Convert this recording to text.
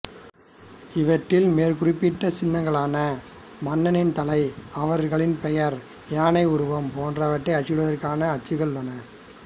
இவற்றில் மேற்குறிப்பிட்ட சின்னங்களான மன்னனின் தலை அவர்களின் பெயர் யானை உருவம் போன்றவற்றை அச்சிடுவதற்கான அச்சுகள் உள்ளன